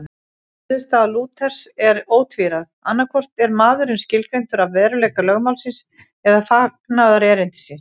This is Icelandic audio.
Niðurstaða Lúthers er ótvíræð, annaðhvort er maðurinn skilgreindur af veruleika lögmálsins eða fagnaðarerindisins.